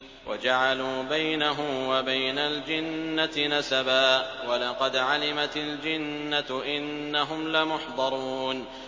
وَجَعَلُوا بَيْنَهُ وَبَيْنَ الْجِنَّةِ نَسَبًا ۚ وَلَقَدْ عَلِمَتِ الْجِنَّةُ إِنَّهُمْ لَمُحْضَرُونَ